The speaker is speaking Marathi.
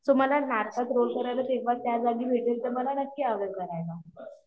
सो मला नाटकात रोल करायला भेटेल तेव्हा त्या जागी भेटेल तर मला नक्की आवडेल करायला